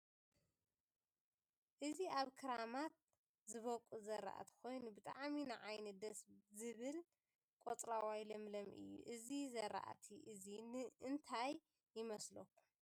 እዚ ኣብ ክራማት ዝቦቅል ዝራእቲ ኮይኑ ብጣዕሚ ንዓይኒ ደስ ዝብል ቆፅለዋይ ለምለም እዩ ። እዚ ዝራእቲ እዙይ እንታይ ይመስለኩም ?